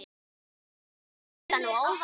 Ég mældi þetta nú áðan.